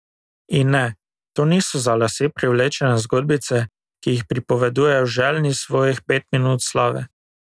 In ne, to niso za lase privlečene zgodbice, ki jih pripovedujejo željni svojih pet minut slave.